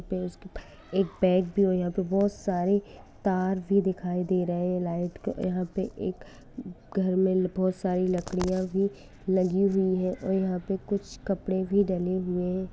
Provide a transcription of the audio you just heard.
एक बैग भी हो यहां पे बहुत सारे तार भी दिख रहे है के घर में बहुत सारी लाइट लकडिया भी लगी हुई है कुछ कपड़े भी डले हुए है।